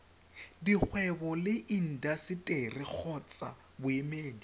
dikgwebo le intaseteri kgotsa boemedi